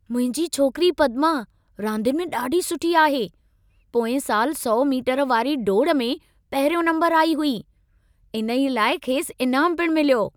मुंहिंजी छोकिरी पदमा, रांदियुनि में ॾाढी सुठी आहे। पोएं सालु 100 मीटर वारी डोड़ में पहिरियों नम्बरु आई हुई। इन्हे लाइ खेसि इनामु पिणु मिलियो।